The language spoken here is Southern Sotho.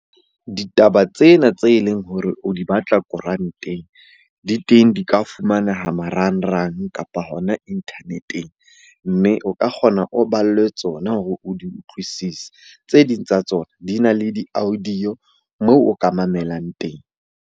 Ditaba tsena tse leng hore o di batla koranteng di teng. Di ka fumaneha marangrang, kapa hona internet-eng. Mme o ka kgona o ballwe tsona hore o di utlwisise. Tse ding tsa tsona di na le di-audio moo o ka mamelang teng.